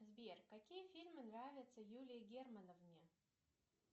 сбер какие фильмы нравятся юлии германовне